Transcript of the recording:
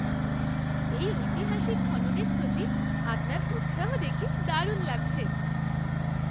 এই ঐতিহাসিক খননের প্রতি আপনার উৎসাহ দেখে দারুণ লাগছে!